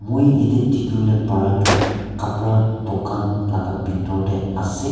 moi yate dikhi bole para tu kapra dukan laga bithor teh ase.